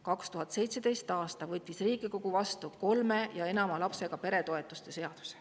2017. aastal Riigikogus vastu võetud seadus, kolme või enama lapsega pere toetus.